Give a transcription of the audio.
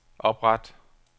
opret